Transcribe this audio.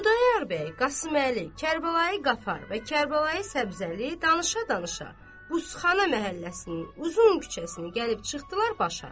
Xudayar bəy, Qasıməli, Kərbəlayı Qafar və Kərbəlayı Səbzəli danışa-danışa buzxana məhəlləsinin uzun küçəsini gəlib çıxdılar başa.